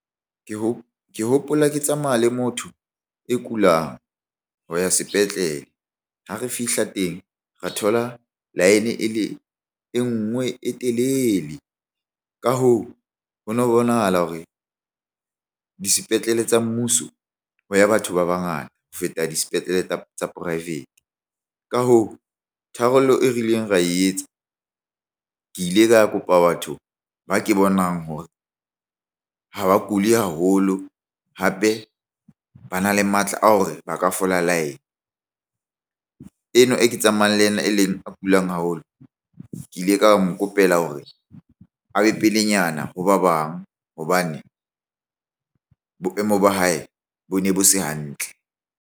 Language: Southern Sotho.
Ke hopola ke tsamaya le motho e kulang ho ya sepetlele. Ha re fihla teng, ra thola line e le e nngwe e telele. Ka hoo, ho no bonahala hore disepetlele tsa mmuso ho ya batho ba bangata ho feta disepetlele tsa tsa poraefete. Ka hoo, tharollo e rileng ra e etsa. Ke ile ka kopa batho ba ke bonang hore ha ba kuli haholo, hape bana le matla a hore ba ka fola line. Eno e ke tsamayang le ena e leng a kulang haholo, ke ile ka mo kopela hore a be pelenyana ho ba bang hobane boemo ba hae bo ne bo se hantle.